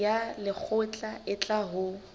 ya lekgotla e tla ho